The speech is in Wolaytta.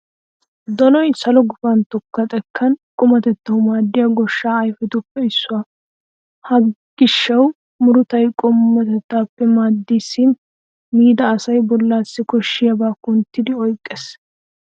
Donoy salo gufantto xekkan qumatettawu maaddiya goshshaa ayfetuppe issuwa. Ha gishshaa murutay qumatettawu maaddeesinne miida asaa bollaassi koshshiyabaa kunttidi oyqqiis.